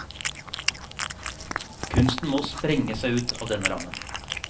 Kunsten må sprenge seg ut av denne rammen.